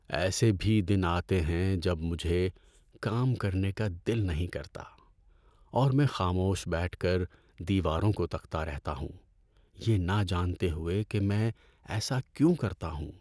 ایسے بھی دن آتے ہیں جب مجھے کام کرنے کا دل نہیں کرتا اور میں خاموش بیٹھ کر دیواروں کو تکتا رہتا ہوں یہ نہ جانتے ہوئے کہ میں ایسا کیوں کرتا ہوں۔